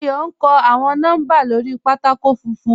Àyọ̀ n kọ́ awọn nọ́mbà lórí pátákò fúnfún.